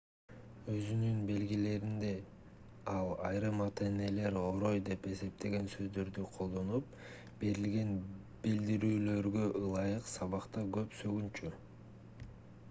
өзүнүн белгилеринде ал айрым ата-энелер орой деп эсептеген сөздөрдү колдонуп берилген билдирүүлөргө ылайык сабакта көп сөгүнчү